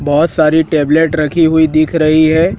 बहोत सारी टैबलेट रखी हुई दिख रही है।